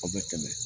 Aw bɛ tɛmɛ